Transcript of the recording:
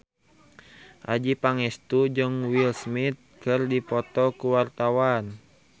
Adjie Pangestu jeung Will Smith keur dipoto ku wartawan